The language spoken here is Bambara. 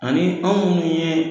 Ani anw munnu ye